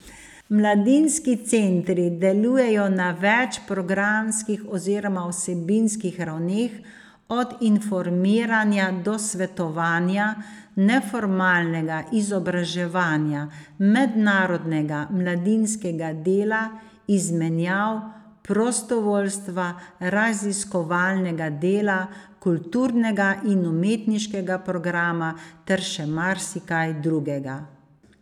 Mladinski centri delujejo na več programskih oziroma vsebinskih ravneh, od informiranja do svetovanja, neformalnega izobraževanja, mednarodnega mladinskega dela, izmenjav, prostovoljstva, raziskovalnega dela, kulturnega in umetniškega programa ter še marsikaj drugega.